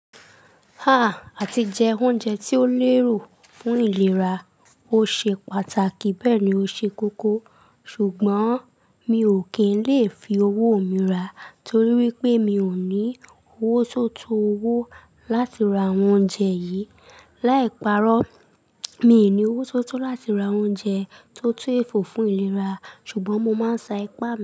Ah. Àti jẹ oúnjẹ tí ó néro fún ìlera ó ṣe pàtàkì bẹ́ẹ̀ ni ó ṣe kókó. Ṣùgbọ́n mi ò kín lè fi owó mi rà torí wípé mi ò ní owó tó tó owó láti ra àwọn oúnjẹ yìí. Láì parọ́, mi ò ní owó tó tó láti ra oúnjẹ tó tú èfò fún ìlera, ṣùgbọ́n mo máa ń sa ipá.